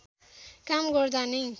काम गर्दा नै